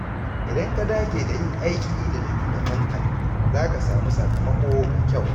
Idan ka dage da yin aiki da littattafanka, za ka samu sakamako mai kyau.